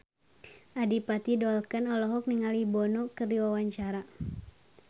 Adipati Dolken olohok ningali Bono keur diwawancara